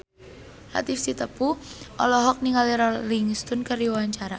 Latief Sitepu olohok ningali Rolling Stone keur diwawancara